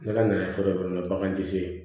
N' ala nana fura dɔ de baganti se